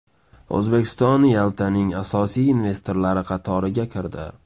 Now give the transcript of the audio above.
O‘zbekiston Yaltaning asosiy investorlari qatoriga kirdi.